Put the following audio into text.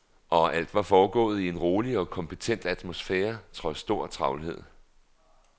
Og alt var foregået i en rolig og kompetent atmosfære, trods stor travlhed.